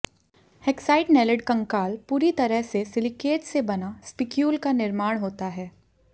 hexactinellid कंकाल पूरी तरह से सिलिकेट्स से बना स्पिक्यूल का निर्माण होता है